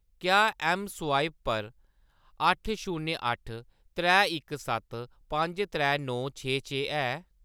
क्या ऐम्म स्वाइप पर अट्ठ शून्य अट्ठ त्रै इक सत्त पंज त्रै नौ छे छे है?